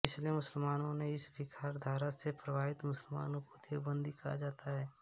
इसलिए मुसलमानों में इस विखराधारा से प्रभावित मुसलमानों को देवबन्दी कहा जाता है